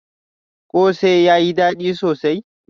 Kose yayi dadi sosai?